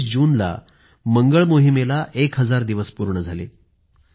१९ जूनला मंगळ मोहिमेला १ हजार दिवस पूर्ण झाले